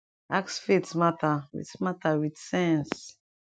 ask faith mata with mata with sense